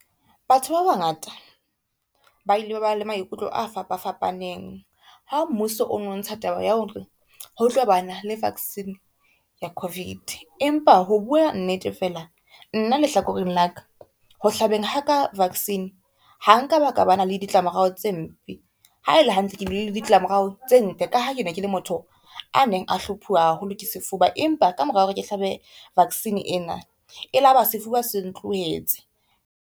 Batho ba bangata ba ile ba ba le maikutlo a fapafapaneng, ha mmuso o no ntsha taba ya hore ho tlo ba na le vaccine ya COVID. Empa ho bua nnete fela nna lehlakoreng la ka, ho hlabeng ha ka vaccine ha nka baka ba na le ditlamorao tse mpe, ha el e hantle ke bile le ditlamorao tse ntle ka ha kene kele motho a neng a hluphuwa haholo ke sefuba, empa ka mora hore ke hlabe vaccine ena e laba sefuba se ntlohetse.